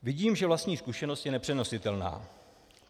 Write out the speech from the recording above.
Vidím, že vlastní zkušenost je nepřenositelná.